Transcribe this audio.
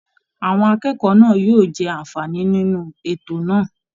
Àwọn akẹ́kọ̀ọ́ náà yóò jẹ àǹfààní nínú ètò náà